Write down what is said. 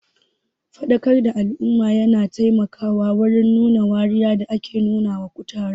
Faɗakar da al'umma yana taimakawa matuƙa wurin rage wariya da ake nuna wa kutare.